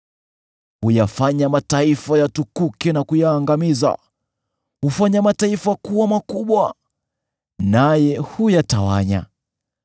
Huyafanya mataifa yatukuke na kuyaangamiza; hufanya mataifa kuwa makubwa, naye huyatawanya.